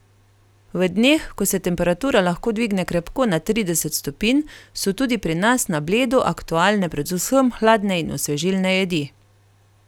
V dneh, ko se temperatura lahko dvigne krepko nad trideset stopinj, so tudi pri nas na Bledu aktualne predvsem hladne in osvežilne jedi.